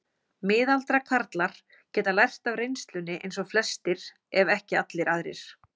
Miðaldra karlar geta lært af reynslunni eins og flestir ef ekki allir aðrir.